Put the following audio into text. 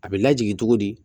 A bɛ lajigi cogo di